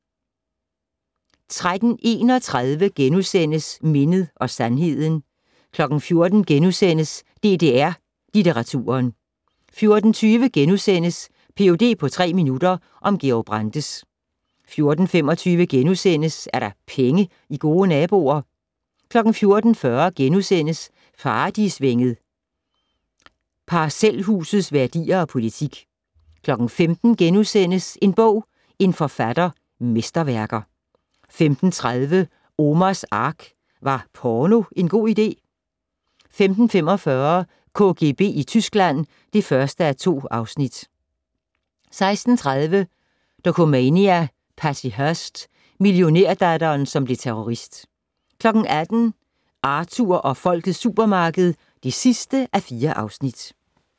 13:31: Mindet og sandheden * 14:00: DDR-Litteraturen * 14:20: Ph.d. på tre minutter - om Georg Brandes * 14:25: Er der penge i gode naboer? * 14:40: Paradisvænget - parcelhusets værdier og politik * 15:00: En bog - en forfatter - Mesterværker * 15:30: Omars Ark - Var porno en god idé? 15:45: KGB i Tyskland (1:2) 16:30: Dokumania: Patty Hearst - millionærdatteren som blev terrorist 18:00: Arthur og Folkets supermarked (4:4)